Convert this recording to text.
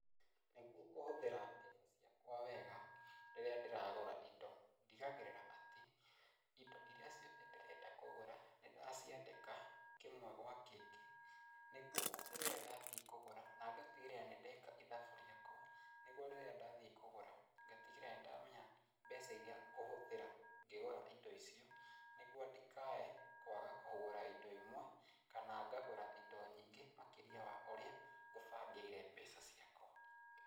Nĩguo kũhũthĩra mbeca ciakwa wega rĩrĩa ndĩragũra indo ndigagĩrĩra atĩ indo iria ciothe ndĩrenda kũgũra nĩndaciandĩka kĩmwe gwa kĩngĩ nĩguo atĩ rĩrĩa ndathiĩ kũgũra, nangatigĩrĩra atĩ nĩndeka ithabu rĩakwa nĩguo rĩrĩa ndathiĩ kũgũra ngatigĩrĩra nĩndamenya mbeca iria ngũhũthĩra ngĩgũra indo icio nĩguo ndikae kwaga kũgũra indo imwe kana ngagũra indo nyingĩ makĩria wa ũrĩa ngũbangĩire mbeca ciakwa.